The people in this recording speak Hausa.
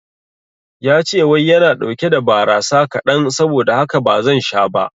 Yace wai yana ɗauke da barasa kaɗan saboda haka bazan sha ba